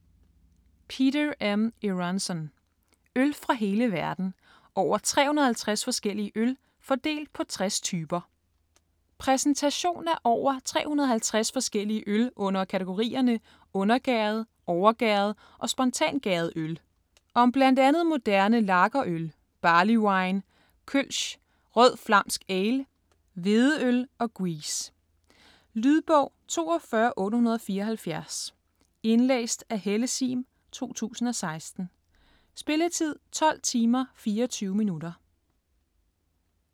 Eronson, Peter M.: Øl fra hele verden: over 350 forskellige øl - fordelt på 60 typer Præsentation af over 350 forskellige øl under kategorierne undergæret, overgæret og spontangæret øl. Om bl.a. moderne lagerøl, barley wine, kölsch, rød flamsk ale, hvedeøl og gueuze. Lydbog 42874 Indlæst af Helle Sihm, 2016. Spilletid: 12 timer, 24 minutter.